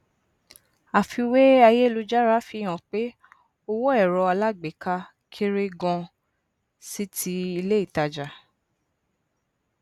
àfiwé ayélujára fihàn pe owó ẹrọ alágbééká kéré ganan sí ti ilé ìtajà